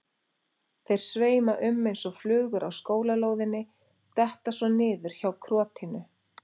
Þeir sveima um eins og flugur á skólalóðinni, detta svo niður hjá krotinu.